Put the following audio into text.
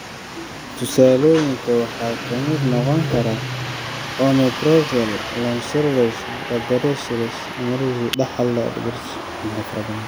Tusaalooyinka waxaa ka mid noqon kara omeprazole, lansoprazole, rabeprazole, esomeprazole, dexlansoprazole iyo pantoprazole.